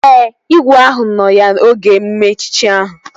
Ee, igwe ahụ nọ ya oge emume echichi ahụ